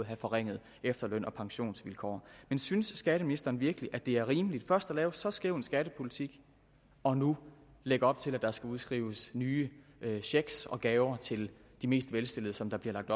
have forringede efterløns og pensionsvilkår synes skatteministeren virkelig at det er rimeligt først at lave en så skæv skattepolitik og nu lægge op til at der skal udskrives nye checks og gaver til de mest velstillede som der bliver lagt